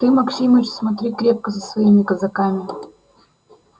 ты максимыч смотри крепко за своими казаками